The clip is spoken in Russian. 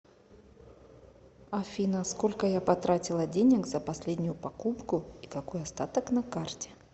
афина сколько я потратила денег за последнюю покупку и какой остаток на карте